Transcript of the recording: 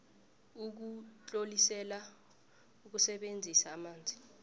ukutlolisela ukusebenzisa amanzi